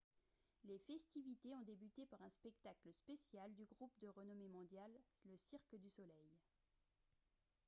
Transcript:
les festivités ont débuté par un spectacle spécial du groupe de renommée mondiale cirque du soleil